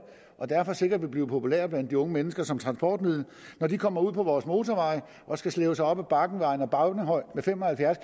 og derfor sikkert vil blive populære blandt de unge mennesker som transportmiddel kommer ud på vores motorveje og skal slæbe sig op ad bakken ved ejer bavnehøj med fem og halvfjerds